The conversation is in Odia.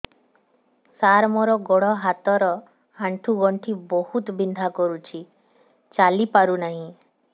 ସାର ମୋର ଗୋଡ ହାତ ର ଆଣ୍ଠୁ ଗଣ୍ଠି ବହୁତ ବିନ୍ଧା କରୁଛି ଚାଲି ପାରୁନାହିଁ